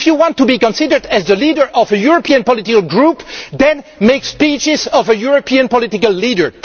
If you want to be considered as the leader of a European political group, then make speeches worthy of a European political leader.